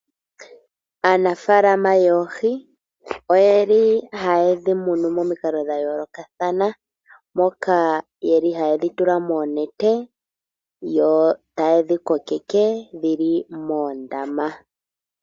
Aanafaalama yoohi oye li haye dhi munu momikalo dhayoolokathana, moka yeli haye dhi tula moonete yo taye dhi kokeke dhili moondama.